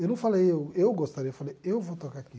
Eu não falei, eu eu gostaria, eu falei, eu vou tocar aqui.